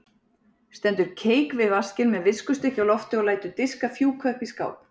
Stendur keik við vaskinn með viskustykki á lofti og lætur diska fjúka upp í skáp.